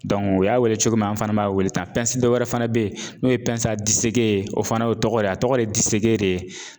o y'a weele cogo min an fana b'a weele ta. dɔ wɛrɛ fana be ye n'o ye ye o fana o tɔgɔ de a tɔgɔ ye de ye